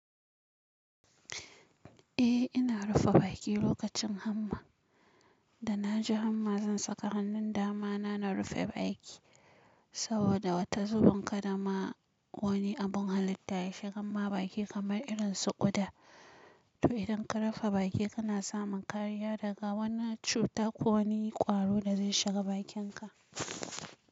Eh ina rufe baki lokacin hamma. Da na ji hamma zan saka hannun dama na, na rufe baki saboda wata zubun kada ma wani abun halitta ya shiga mawa baki kamar irin su ƙuda. To idan ka rufe baki kana samun kariya daga wannan cuta ko wani kwaro da zai shiga bakinka.